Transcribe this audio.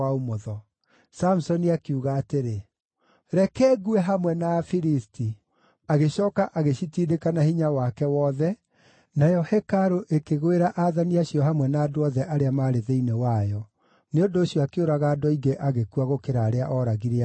Samusoni akiuga atĩrĩ, “Reke ngue hamwe na Afilisti!” Agĩcooka agĩcitindĩka na hinya wake wothe, nayo hekarũ ĩkĩgwĩra aathani acio hamwe na andũ othe arĩa maarĩ thĩinĩ wayo. Nĩ ũndũ ũcio akĩũraga andũ aingĩ agĩkua gũkĩra arĩa ooragire arĩ muoyo.